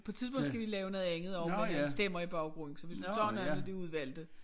På et tidspunkt skal vi lave noget andet også med nogle stemmer i baggrunden så hvis du tager nogle af de udvalgte